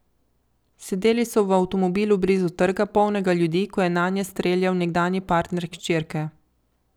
Sedeli so v avtomobilu blizu trga, polnega ljudi, ko je nanje streljal nekdanji partner hčerke.